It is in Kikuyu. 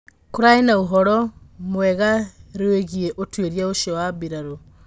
Kũrarĩ na ũhoro mũgarũegiĩ ũtwirĩa ucio wa birarũ.